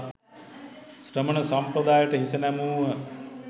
ශ්‍රමණ සම්පදායට හිස නැමුහ.